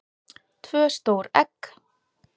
tvö stór egg